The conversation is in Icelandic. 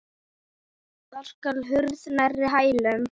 Þar skall hurð nærri hælum.